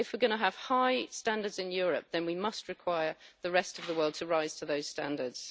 If we're going to have high standards in Europe, then we must require the rest of the world to rise to those standards.